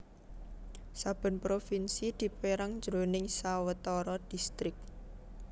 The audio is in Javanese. Saben provinsi dipérang jroning sawetara distrik